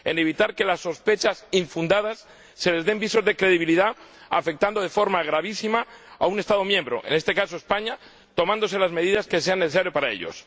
evitar que a las sospechas infundadas se les den visos de credibilidad afectando de forma gravísima a un Estado miembro —en este caso España— tomando las medidas que sean necesarias para ello